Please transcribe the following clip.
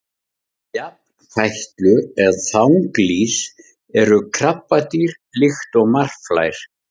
jafnfætlur eða þanglýs eru krabbadýr líkt og marflær